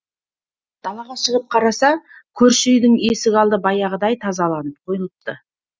далаға шығып қараса көрші үйдің есік алды баяғыдай тазаланып қойылыпты